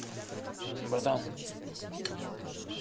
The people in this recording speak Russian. батан